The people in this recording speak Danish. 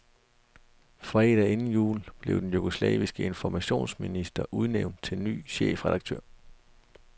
Fredagen inden jul blev den jugoslaviske informationsminister udnævnt til ny chefredaktør.